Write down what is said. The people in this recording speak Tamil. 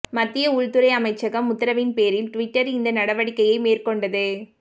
மத்திய உள்துறை அமைச்சகம் உத்தரவின்பேரில் டுவிட்டர் இந்த நடவடிக்கையை மேற்கொண்டது